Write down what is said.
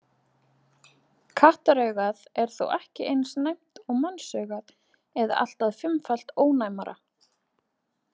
Kattaraugað er þó ekki eins næmt og mannsaugað eða allt að fimmfalt ónæmara.